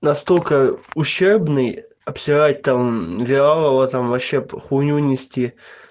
настолько ущербный обсирать там вялого там вообще хуйню нести